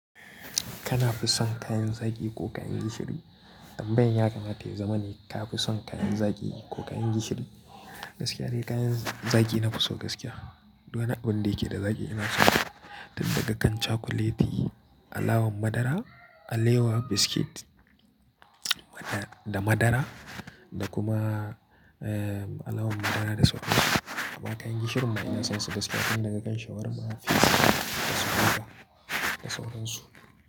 Kana fi son kayan zaki ko kayan gishiri? Tambayan ya kamata ya zama ne ka fi son kayan zaki ko kayan gishiri? Gaskiya dai kayan zaki na fi so gaskiya. Duk wani abin da yake da zaki ina so. Tun daga kan cakuleti, alawan madara, alewa, biskit da madara da kuma, eh, alawan madara da sauransu. Amma kayan gishirin ma ina son su, da suƙo tun daga kan shawarma, pizza da sauransu.